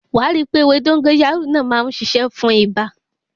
Wàá rí pé ewé dógóyárò tún má ń ṣiṣẹ́ fún ibà.